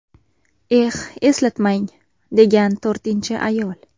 Eh, eslatmang”, degan to‘rtinchi ayol.